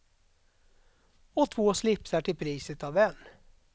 Och två slipsar till priset av en.